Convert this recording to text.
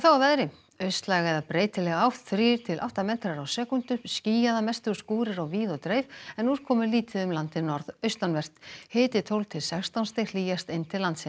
að veðri austlæg eða breytileg átt þrír til átta m á sekúndu skýjað að mestu og skúrir á víð og dreif en úrkomulítið um landið norðaustanvert hiti tólf til sextán stig hlýjast inn til landsins